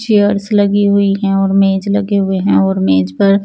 cheers लगी हुई हैं और मेज लगे हुए हैं और मेज पर --